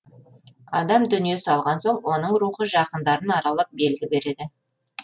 адам дүние салған соң оның рухы жақындарын аралап белгі береді